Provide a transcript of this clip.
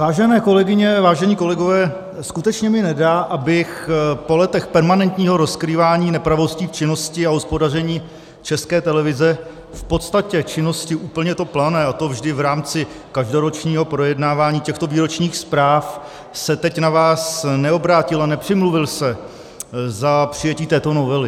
Vážené kolegyně, vážení kolegové, skutečně mi nedá, abych po letech permanentního rozkrývání nepravostí v činnosti a hospodaření České televize, v podstatě činnosti úplně to plané, a to vždy v rámci každoročního projednávání těchto výročních zpráv, se teď na vás neobrátil a nepřimluvil se za přijetí této novely.